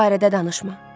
Bu barədə danışma.